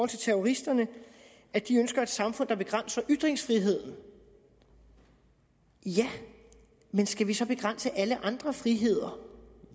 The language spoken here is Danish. terroristerne at de ønsker et samfund der begrænser ytringsfriheden ja men skal vi så derfor begrænse alle andre friheder